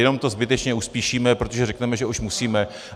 Jenom to zbytečně uspíšíme, protože řekneme, že už musíme.